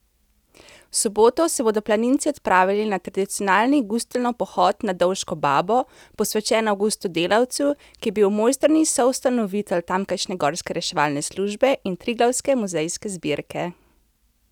V soboto se bodo planinci odpravili na tradicionalni Gustlnov pohod na Dovško babo, posvečen Avgustu Delavcu, ki je bil v Mojstrani soustanovitelj tamkajšnje gorske reševalne službe in Triglavske muzejske zbirke.